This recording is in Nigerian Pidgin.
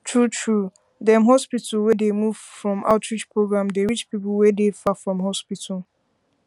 true true dem hospital wey dey move from outreach program dey reach people wey dey far from hospital